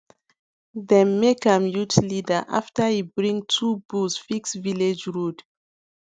dem make am youth leader after e bring two bulls fix village road